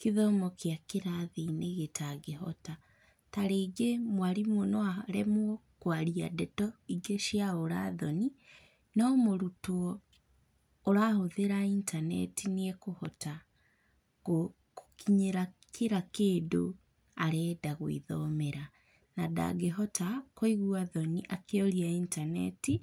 kĩthomo kĩa kĩrathi-inĩ gĩtangĩhota. Tarĩngĩ mwarimũ no aremwo kwaria ndeto ingĩ cia ũrathoni, no mũrutwo ũrahũthĩra intaneti nĩ ekũhota kũkinyĩra kira kĩndũ arenda gwĩthomera. Na ndangĩhota kũigua thoni akĩũria intaneti